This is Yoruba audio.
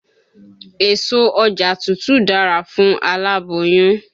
Èso ọjà tuntun dára fún aláboyún.